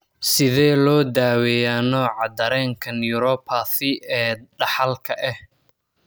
Sidee loo daweeyaa nooca dareenka neuropathy ee dhaxalka ah?